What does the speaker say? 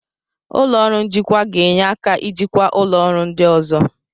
Ụlọ ọrụ njikwa ga-enye aka ijikwa ụlọ ọrụ ndị ọzọ.